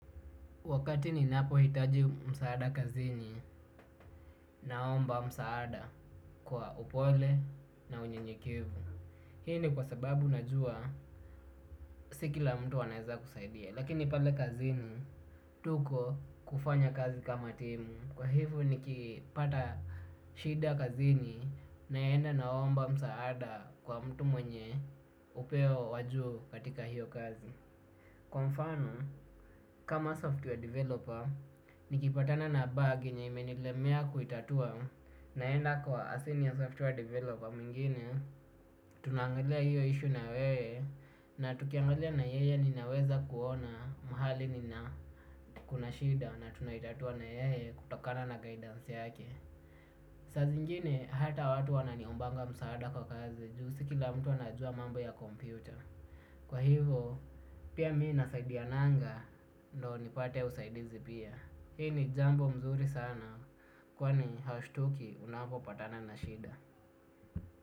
Wakati ni napohitaji msaada kazini naomba msaada kwa upole na unyenyekevu. Hii ni kwa sababu najua si kila mtu anaeza kusaidia. Lakini pale kazini tuko kufanya kazi kama timu. Kwa hivo nikipata shida kazini naenda naomba msaada kwa mtu mwenye upeo wajuu katika hiyo kazi. Kwa mfano, kama software developer, nikipatana na bag yenye imenilemea kuitatua naenda kwa asini ya software developer mwingine, tunaangalia hiyo issue na weye na tukiangalia na yeye ninaweza kuona mahali kuna shida na tunaitatua na yeye kutokana na guidance yake. Saa zingine hata watu wananiombanga msaada kwa kazi. Juu si kila mtu anajua mambo ya kompyuta. Kwa hivo pia mii nasaidiananga. Ndo nipate usaidizi pia. Hii ni jambo mzuri sana. Kwani haushtuki unapopatana na shida.